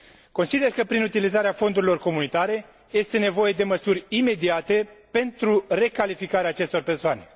Consider că, prin utilizarea fondurilor comunitare, este nevoie de măsuri imediate pentru recalificarea acestor persoane.